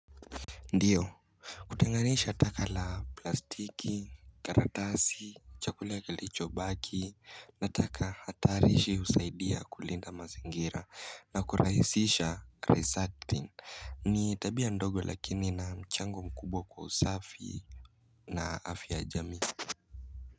Ndiyo hutenganisha taka la plastiki, karatasi, chakula kilicho baki na taka hatarishi husaidia kulinda mazingira na kurahisisha resacting ni tabia ndogo lakini na mchango mkubwa kusafi na afya ya jamii.